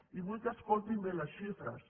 i vull que escoltin bé les xifres